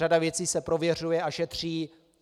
Řada věcí se prověřuje a šetří.